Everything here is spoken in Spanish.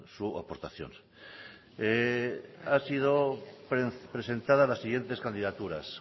su aportación han sido presentadas las siguientes candidaturas